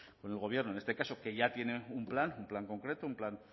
con el gobierno en este caso que ya tiene un plan un plan concreto un plan